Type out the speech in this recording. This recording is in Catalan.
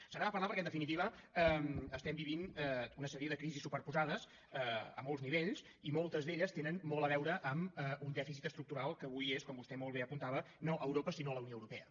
se n’ha de parlar perquè en definitiva estem vivint una sèrie de crisis superposades a molts nivells i moltes d’elles tenen molt a veure amb un dèficit estructural que avui és com vostè molt bé apuntava no europa sinó la unió europea